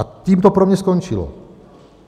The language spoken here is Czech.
A tím to pro mě skončilo.